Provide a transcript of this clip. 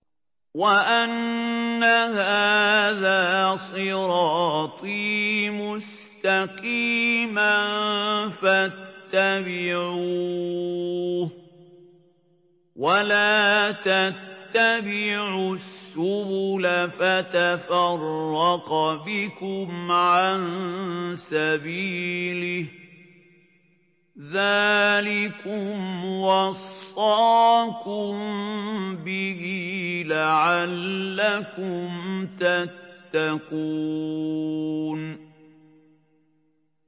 وَأَنَّ هَٰذَا صِرَاطِي مُسْتَقِيمًا فَاتَّبِعُوهُ ۖ وَلَا تَتَّبِعُوا السُّبُلَ فَتَفَرَّقَ بِكُمْ عَن سَبِيلِهِ ۚ ذَٰلِكُمْ وَصَّاكُم بِهِ لَعَلَّكُمْ تَتَّقُونَ